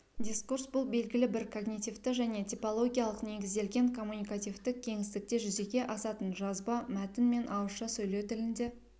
дискурс бұл белгілі бір когнитивті және типологиялық негізделген коммуникативтік кеңістікте жүзеге асатын жазба мәтін мен ауызша сөйлеу тілінде